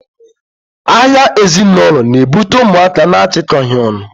agha ezinaulo na-ebute ụmụaka na-achịkọghị ọnụ.